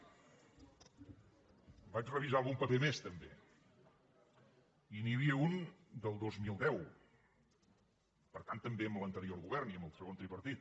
vaig revisar algun paper més també i n’hi havia un del dos mil deu per tant també amb l’anterior govern i amb el segon tripartit